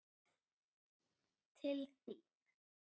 Til þín.